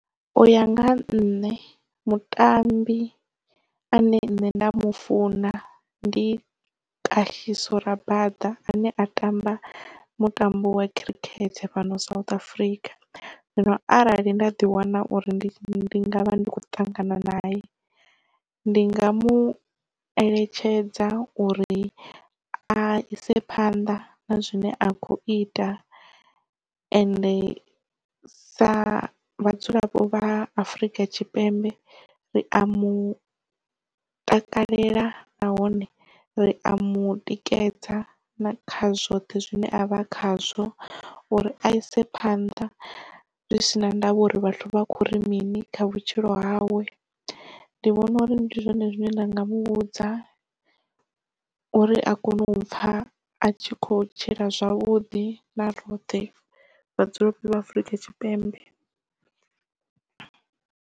U ya nga nṋe mutambi ane nṋe nda mu funa ndi Kagiso Rabaḓa ane a tamba mutambo wa khirikhethe fhano South Africa. Zwino arali nda ḓi wana uri ndi ngavha ndi kho ṱangana nae ndi nga mueletshedza uri a ise phanḓa na zwine a khou ita ende sa vhadzulapo vha Afrika Tshipembe ri a mu takalela nahone ri a mutikedza na kha zwoṱhe zwine avha khazwo uri a ise phanḓa zwi si na ndavha uri vhathu vha khou ri mini kha vhutshilo hawe. Ndi vhona uri ndi zwone zwine nda nga muvhudza uri a kone u pfha a tshi kho tshila zwavhuḓi na roṱhe vhadzulapo vha afrika tshipembe.